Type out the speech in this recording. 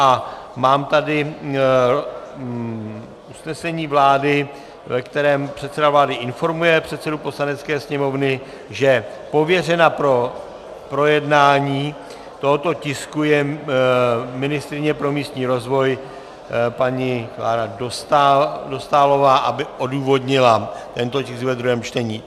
A mám tady usnesení vlády, ve kterém předseda vlády informuje předsedu Poslanecké sněmovny, že pověřena pro projednání tohoto tisku je ministryně pro místní rozvoj paní Klára Dostálová, aby odůvodnila tento tisk ve druhém čtení.